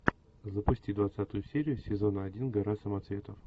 запусти двадцатую серию сезона один гора самоцветов